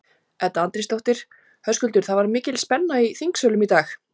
Edda Andrésdóttir: Höskuldur, það var mikil spenna í þingsölum í dag?